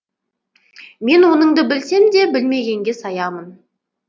мен оныңды білсем де білмегенге саямын